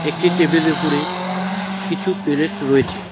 একটি টেবিলের উপরে কিছু পেলেট রয়েছে ।